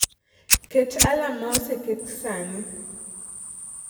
Ket alarm ma oseket sani